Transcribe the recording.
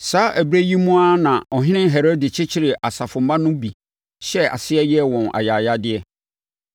Saa ɛberɛ yi mu ara na Ɔhene Herode kyekyeree asafomma no bi hyɛɛ aseɛ yɛɛ wɔn ayayadeɛ.